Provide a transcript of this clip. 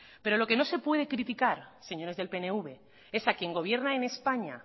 pero lo que no se puede criticar señores del pnv es a quien gobierna en españa